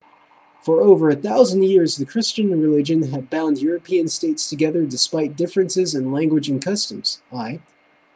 for over a thousand years the christian religion had bound european states together despite differences in language and customs i